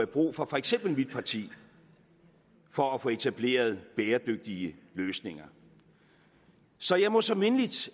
brug for for eksempel mit parti for at få etableret bæredygtige løsninger så jeg må så mindeligt